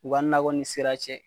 U ka nakɔ ni sira cɛ.